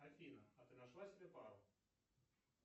афина а ты нашла себе пару